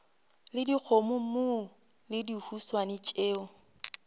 le dikgomommuu le dihuswane tšeo